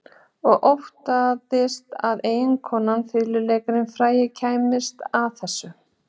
Og óttaðist að eiginkonan, fiðluleikarinn frægi, kæmist að þessu.